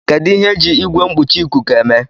Kedu ihe eji Igwe mkpuchi ikuku eme